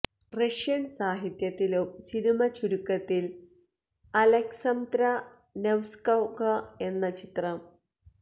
Russian സാഹിത്യത്തിലും cinema ചുരുക്കത്തിൽ ൽ അലെക്സംദ്ര നെവ്സ്കൊഗൊ എന്ന ചിത്രം